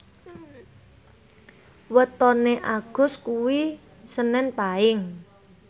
wetone Agus kuwi senen Paing